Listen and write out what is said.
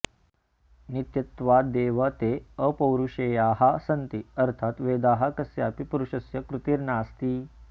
नित्यत्वादेव ते अपौरुषेयाः सन्ति अर्थात् वेदाः कस्यापि पुरुषस्य कृतिर्नास्ति